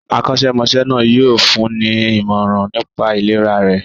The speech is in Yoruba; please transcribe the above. Akọ́ṣẹ́mọṣẹ́ náà yóò fún ní ìmọ̀ràn nipá ìlera rẹ̀.